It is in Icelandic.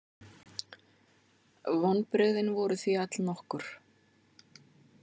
Vonbrigðin voru því allnokkur.